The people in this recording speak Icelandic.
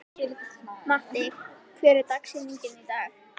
Matti, hver er dagsetningin í dag?